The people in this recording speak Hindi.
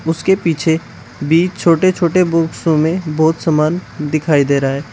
उसके पीछे भी छोटे छोटे बॉक्सो में बहोत समान दिखाई दे रहा है।